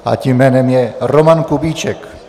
A tím jménem je Roman Kubíček.